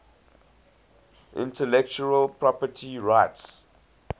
intellectual property rights